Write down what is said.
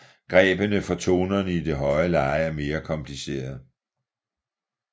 Grebene for tonerne i det høje leje er mere komplicerede